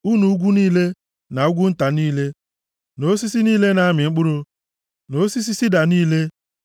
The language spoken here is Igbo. unu ugwu ukwu niile, na ugwu nta niile na osisi niile na-amị mkpụrụ na osisi sida niile